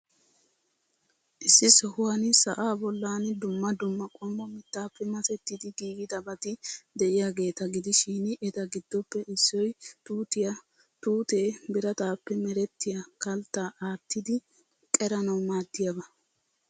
Issi sohuwan sa'aa bollan dumma dumma qommo mittaappe masettidi giigidabati de'iyaageeta gidishin, eta giddoppe issoy tuutiyaa. Tuutee birataappe merettiyaa kalttaa aattidi qeranawu maaddiyaaba.